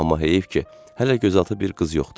Amma heyf ki, hələ gözaltı bir qız yoxdur.